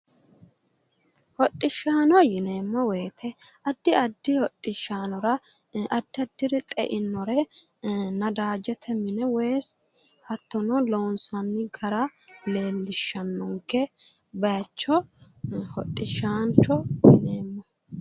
Hoshishahono yineemmo woyite addi addi hodhishaanora addi addiri xe'inore ee nadaajete mine woyisi hattono loonsanni gara leellishannonke bayicho hodhishaancho yineemmo